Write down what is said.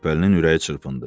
Şəbbəlinin ürəyi çırpındı.